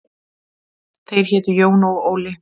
Þeir hétu Jón og Óli.